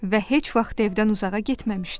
Və heç vaxt evdən uzağa getməmişdi.